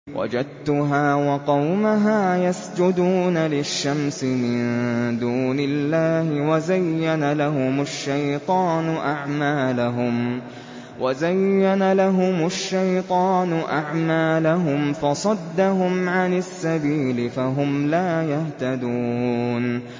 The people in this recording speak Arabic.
وَجَدتُّهَا وَقَوْمَهَا يَسْجُدُونَ لِلشَّمْسِ مِن دُونِ اللَّهِ وَزَيَّنَ لَهُمُ الشَّيْطَانُ أَعْمَالَهُمْ فَصَدَّهُمْ عَنِ السَّبِيلِ فَهُمْ لَا يَهْتَدُونَ